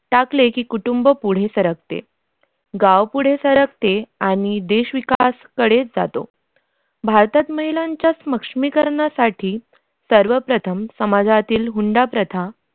टाकले की कुटुंब पुढे सकते गाव पुढे सरकते आणि आणि देश विकास कडे जातो भारतात महिलांचा सक्षमीकरणासाठी सर्वप्रथम समाजातील हुंडा प्रथा